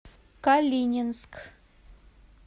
калининск